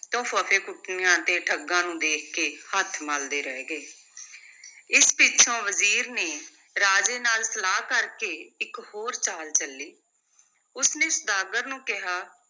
ਤਾਂ ਫੱਫੇਕੁੱਟਣੀਆਂ ਤੇ ਠੱਗਾਂ ਨੂੰ ਦੇਖ ਕੇ ਹੱਥ ਮਲਦੇ ਰਹਿ ਗਏ ਇਸ ਪਿੱਛੋਂ ਵਜ਼ੀਰ ਨੇ ਰਾਜੇ ਨਾਲ ਸਲਾਹ ਕਰ ਕੇ ਇਕ ਹੋਰ ਚਾਲ ਚੱਲੀ, ਉਸ ਨੇ ਸੁਦਾਗਰ ਨੂੰ ਕਿਹਾ